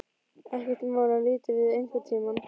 Ekkert mál að líta við einhvern tíma.